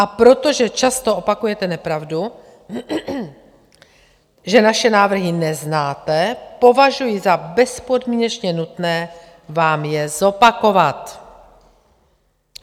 A protože často opakujete nepravdu, že naše návrhy neznáte, považuji za bezpodmínečně nutné vám je zopakovat.